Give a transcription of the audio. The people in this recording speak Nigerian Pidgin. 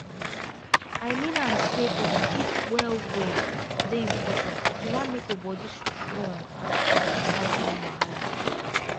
i mean am say to sleep well well dey important if you wan make your body strong and fit fight any wahala